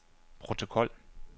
protokol